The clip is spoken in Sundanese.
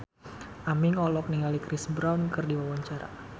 Aming olohok ningali Chris Brown keur diwawancara